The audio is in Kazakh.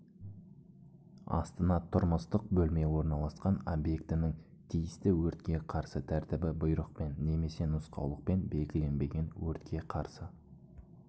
астына тұрмыстық бөлме орналасқан объектінің тиісті өртке қарсы тәртібі бұйрықпен немесе нұсқаулықпен белгіленбеген өртке қарсы